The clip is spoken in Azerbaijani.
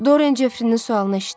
Dorian Jeffrinin sualını eşitdi.